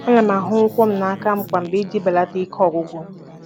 Ana m ahụ ụkwụ m aka kwa mgbede iji belata ike ọgwụgwụ.